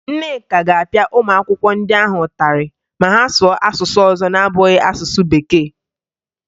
Nneka ga-apịa ụmụ akwụkwọ ndị ahụ ụtarị ma ha sụọ asụsụ ọzọ na-abụghị asụsụ Bekee